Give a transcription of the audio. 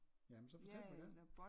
Jamen så fortæl mig dem